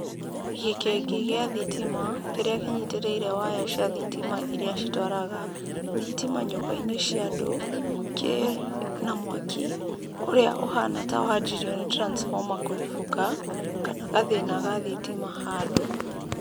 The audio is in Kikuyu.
Gĩkĩngĩ gĩa thitima, kĩrĩa kĩnyitĩrĩire waya cia thitima iria citwaraga thitima nyũmba-inĩ cia andũ, kĩ na mwaki, ũrĩa ũhana ta wanjirie nĩ transformer kũribũka, kana gathĩna ga thitima handũ.